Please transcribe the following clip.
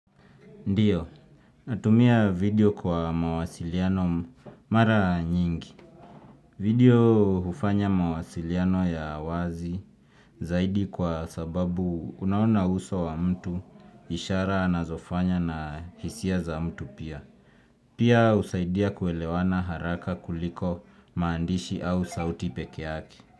Ndiyo, natumia video kwa mawasiliano mara nyingi. Video hufanya mawasiliano ya wazi zaidi kwa sababu unaona uso wa mtu ishara anazofanya na hisia za mtu pia. Pia husaidia kuelewana haraka kuliko maandishi au sauti pekee yake.